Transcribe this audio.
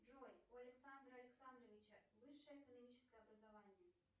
джой у александра александровича высшее экономическое образование